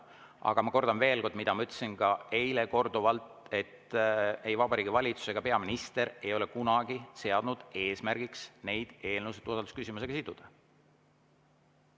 Aga ma kordan veel kord, mida ma ütlesin ka eile korduvalt, et ei Vabariigi Valitsus ega peaminister ei ole kunagi seadnud eesmärgiks neid eelnõusid usaldusküsimusega siduda.